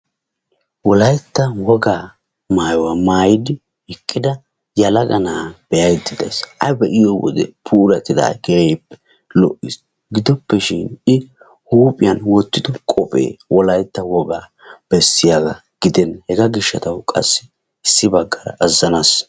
Wolayttan wogga maayuwaa maayi uttida yelagga na'a be'aydda daysi a be'iyodde puulattidagge keehi lo'es gidoppeshin i huuphphiyan wottiddo qophphe wolaytta wogga besiyagga gidenna hegaagishatawu qassi issibagara azanas.